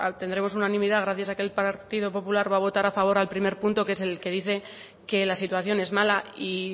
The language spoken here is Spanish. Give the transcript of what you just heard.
tendremos unanimidad gracias a que el partido popular va a votar a favor al primer punto que es el que dice que la situación es mala y